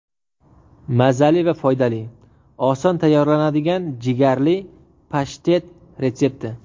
Mazali va foydali: Oson tayyorlanadigan jigarli pashtet retsepti.